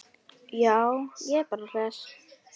Já, ég er bara hress.